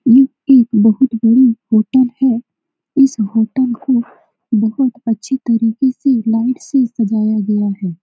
यह एक बोहोत बड़ी होटल है। इस होटल को बोहोत अच्छी तरीके से लाइट से सजाया गया है।